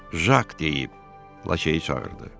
Jak deyib Lakeyi çağırdı.